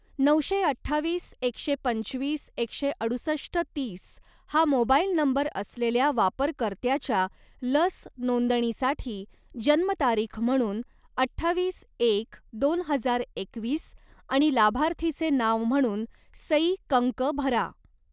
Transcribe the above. नऊशे अठ्ठावीस एकशे पंचवीस एकशे अडुसष्ट तीस हा मोबाईल नंबर असलेल्या वापरकर्त्याच्या लस नोंदणीसाठी जन्मतारीख म्हणून अठ्ठावीस एक दोन हजार एकवीस आणि लाभार्थीचे नाव म्हणून सई कंक भरा.